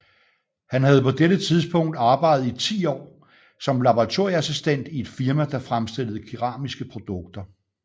Han havde på dette tidspunkt arbejdet i ti år som laboratorieassistent i et firma der fremstillede keramiske produkter